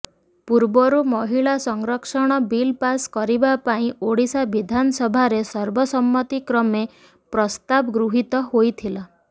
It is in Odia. ପୂର୍ବରୁ ମହିଳା ସଂରକ୍ଷଣ ବିଲ୍ ପାସ୍ କରିବା ପାଇଁ ଓଡ଼ିଶା ବିଧାନସଭାରେ ସର୍ବସମ୍ମତି କ୍ରମେ ପ୍ରସ୍ତାବ ଗୃହୀତ ହୋଇଥିଲା